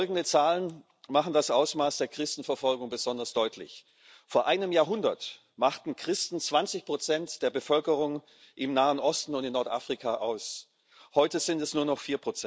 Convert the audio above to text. Folgende Zahlen machen das Ausmaß der Christenverfolgung besonders deutlich Vor einem Jahrhundert machten Christen 20 der Bevölkerung im Nahen Osten und in Nordafrika aus, heute sind es nur noch